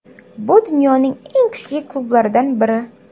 Bu dunyoning eng kuchli klublaridan biri.